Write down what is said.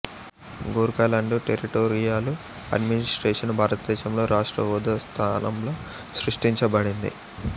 Gorkhaland territorial administration భారతదేశంలో రాష్ట్ర హోదా స్థానంలో సృష్టించబడింది